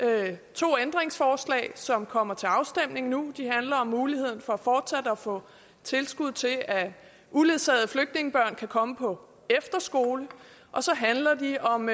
to ændringsforslag som kommer til afstemning nu de handler om muligheden for fortsat at få tilskud til at uledsagede flygtningebørn kan komme på efterskole så handler de om